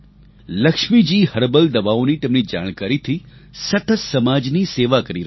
Lakshmiji herbal દવાઓની તેમની જાણકારીથી સતત સમાજની સેવા કરી રહી છે